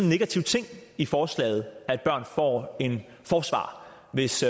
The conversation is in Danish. negativ ting i forslaget at børn får en forsvarer hvis